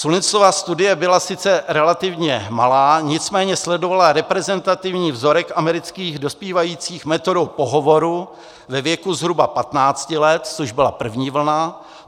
Sullinsova studie byla sice relativně malá, nicméně sledovala reprezentativní vzorek amerických dospívajících metodou pohovoru ve věku zhruba 15 let, což byla první vlna.